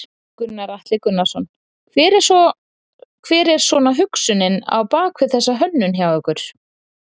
Gunnar Atli Gunnarsson: Hver er svona hugsunin á bak við þessa hönnun hjá ykkur?